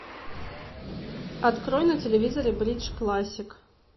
открой на телевизоре бридж классик